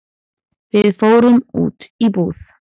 Við fórum út í búð.